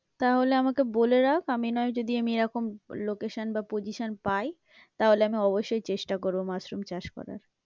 তাহলে আমাকে বলে রাখ, আমি না হয় যদি আমি এরকম location বা position পাই, তাহলে আমি অবশ্যই চেষ্টা করবো মাশরুম চাষ করার।